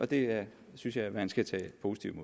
det synes jeg man skal tage positivt